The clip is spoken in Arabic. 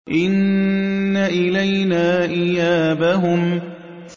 إِنَّ إِلَيْنَا إِيَابَهُمْ